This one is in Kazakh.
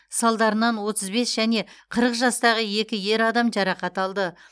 салдарынан отыз бес және қырық жастағы екі ер адам жарақат алды